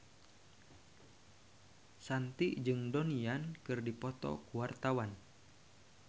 Shanti jeung Donnie Yan keur dipoto ku wartawan